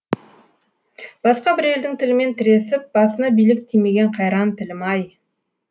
басқа бір елдің тілімен тіресіп басына билік тимеген қайран тілім ай